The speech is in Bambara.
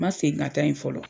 Ma segin ka taa yen fɔlɔ.